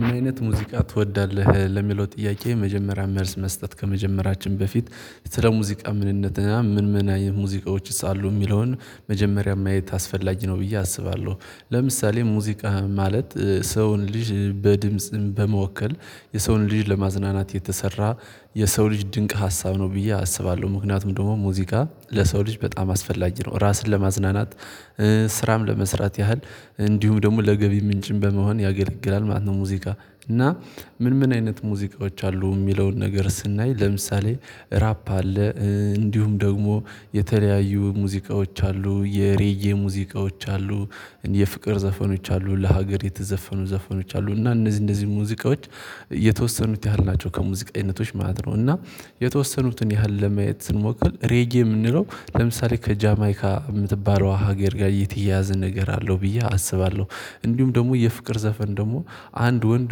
ምን አይነት ሙዚቃ ትወዳለህ? ለሚለው ጥያቄ የመጀመሪያ መልስ መስጠት ከመጀመራችን በፊት ስለ ሙዚቃ ምንነትና ምን ምን ሙዚቃዎችስ አሉ የሚለውን መጀመሪያ ማየት አስፈላጊ ነው ብዬ አስባለሁ። ለምሳሌ ሙዚቃ ማለት ሰውን ልጅ በድምጽ በመወከል የሰውን ልጅ ለማዝናናት የተሰራ የሰው ልጅ ድንቅ ሀሳብ ነው ብዬ አስባለሁ። ምክንያቱም ደግሞ ሙዚቃ ለሰው ልጅ በጣም አስፈላጊ ነው ራስን ለማዝናናት። ስራም ለመስራት ያህል እንዲሁ ደግሞ ለገቢ ምንጭም በመሆን ያገለግላል ማን ነው ሙዚቃ። እና ምን ምን አይነት ሙዚቃዎች አሉ የሚለውን ነገር ስናይ ለምሳሌ። ራፕ አለ እንዲሁም ደግሞ የተለያዩ ሙዚቃዎች አሉ የሬጌ ሙዚቃዎች አሉ። የፍቅር ዘፈኖች አሉ ለሀገር የተዘፈኑ ዘፈኖች አሉ እና እነዚህ እንደዚህ ሙዚቃዎች የተወሰኑት ያህል ናቸው። ከሙዚቃዊነቶች ማለት ነው እና የተወሰኑትን ያህል ለማየት ስንሞክር ሬጌ የምንለው ለምሳሌ ከጃማይካ የምትባለው ሀገር ጋር የተያያዘ ነገር አለው ብዬ አስባለሁ። እንዲሁም ደግሞ የፍቅር ዘፈን ደግሞ አንድ ወንድ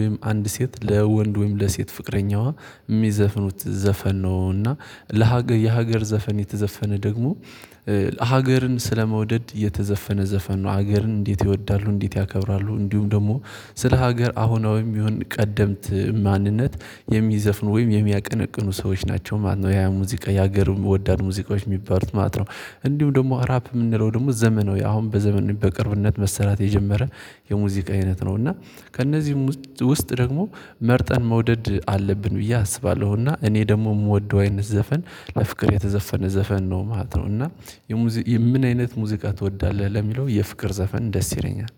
ወይም አንድ ሴት ለወንድ ወይም ለሴት ፍቅረኛዋ የሚዘፍኑት ዘፈን ነው። እና ለሀገር የሀገር ዘፈን የተዘፈነ ደግሞ ሀገርን ስለመውደድ የተዘፈነ ዘፈን ነው። ሀገርን እንዴት ይወዳሉ እንዴት ያከብራሉ? እንዲሁም ደግሞ ስለ ሀገር አሁናዊም ይሁን ቀደምት ማንነት የሚዘፍኑ ወይም የሚያቀነቅኑ ሰዎች ናቸው ማለት ነው። ያ ሙዚቃ የሀገር የምወዳድ ሙዚቃዎች የሚባሉት ማለት ነው። እንዲሁም ደግሞ ራፕ የምንለው ደግሞ ዘመናዊ አሁን በዘመነት በቅርብነት መሰራት የጀመረ የሙዚቃ አይነት ነው። እና ከእነዚህ ውስጥ ደግሞ መርጠን መውደድ አለብን ብዬ አስባለሁና። እኔ ደግሞ የምወደው አይነት ዘፈን ለፍቅር የተዘፈነ ዘፈን ነው ማለት ነው። እና ምን አይነት ሙዚቃ ትወዳለህ? ለሚለው የፍቅር ዘፈን ደስ ይለኛል።